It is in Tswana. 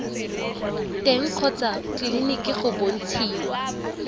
teng kgotsa tleleniki go bontshiwa